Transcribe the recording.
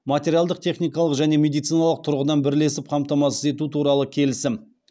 материалдық техникалық және медициналық тұрғыдан бірлесіп қамтамасыз ету туралы келісім